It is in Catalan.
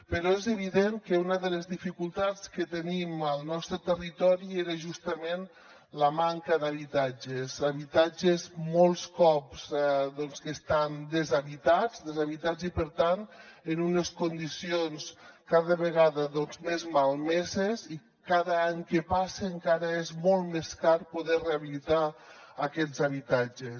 però és evident que una de les dificultats que tenim al nostre territori era justament la manca d’habitatges habitatges molts cops doncs que estan deshabitats i per tant en unes condicions cada vegada més malmeses i cada any que passa encara és molt més car poder rehabilitar aquests habitatges